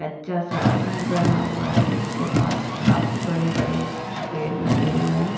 अच्छा सा घर बना हुआ है जिसके पास काफी बड़े बड़े पेड़ लगे हुए--